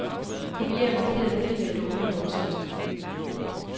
Kopier markerede filer i dokumentoversigt.